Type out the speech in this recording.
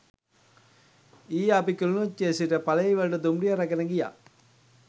ඊයේ අපි කිලිනොච්චියේ සිට පලෙයිවලට දුම්රිය රැගෙන ගියා